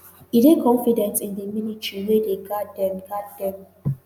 e dey confident in di military wey dey guard dem guard dem.